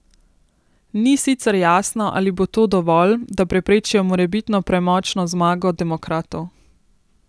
Ni sicer jasno, ali bo to dovolj, da preprečijo morebitno premočno zmago demokratov.